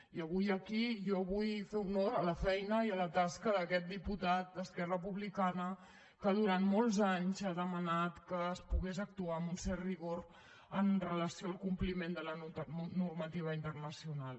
i avui aquí jo vull fer honor a la feina i a la tasca d’aquest diputat d’esquerra republicana que durant molts anys ha demanat que es pogués actuar amb un cert rigor amb relació al compliment de la normativa internacional